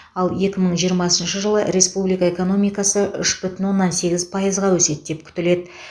ал екі мың жиырмасыншы жылы республика экономикасы үш бүтін оннан сегіз пайызға өседі деп күтіледі